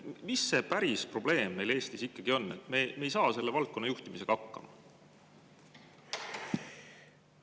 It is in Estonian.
Mis see päris probleem meil Eestis ikkagi on, et me ei saa selle valdkonna juhtimisega hakkama?